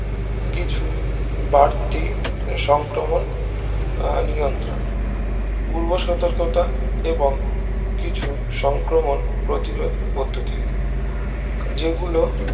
কিছু বার্তি সংক্রমণ আহ নিয়ন্ত্রণ পূর্ব সতর্কতা এবং কিছু সংক্রমণ প্রতিরোধ পদ্ধতি যেগুলো